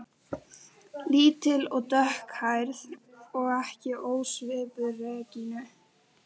Lítil og dökkhærð og ekki ósvipuð Regínu